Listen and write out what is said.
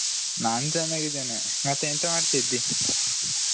ನಾನ್ ಚೆನ್ನಾಗಿದ್ದೇನೆ ಮತ್ತೆ ಎಂತ ಮಾಡ್ತಿದ್ದಿ ?